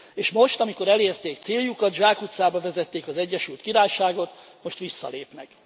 És most, amikor elérték céljukat, zsákutcába vezették az Egyesült Királyságot, most visszalépnek.